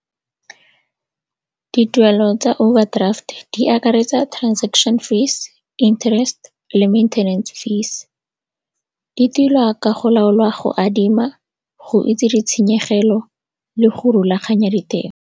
Dituelo tsa overdraft di akaretsa transaction fees, interest le maintenance fees. Di tilwa ka go laolwa go adima, go itse ditshenyegelo le go rulaganya ditemo.